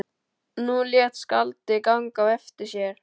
Nú lét skáldið ganga á eftir sér.